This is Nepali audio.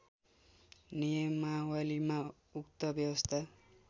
नियमावलीमा उक्त व्यवस्था